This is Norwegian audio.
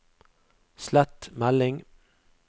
slett melding